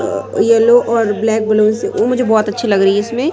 Yellow और black balloon से ओ मुझे बोहोत अच्छी लग रही है इसमें।